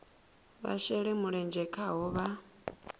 vha shele mulenzhe khaho vha